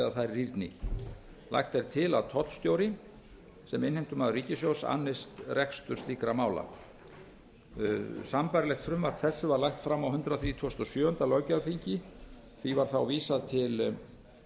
eða þær rýrni lagt er til að tollstjóri sem innheimtumaður ríkissjóðs annist rekstur slíkra mála sambærilegt frumvarp þessu var lagt fram á hundrað þrítugasta og sjöunda löggjafarþingi því var vísað til